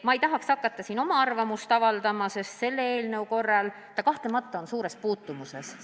Ma ei tahaks hakata siin oma arvamust avaldama, aga selle eelnõuga on see kahtlemata suures puutumuses.